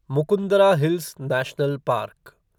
Mukundra hills national park